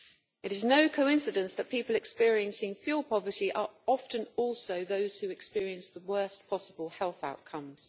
It is no coincidence that people experiencing fuel poverty are often also those who experience the worst possible health outcomes.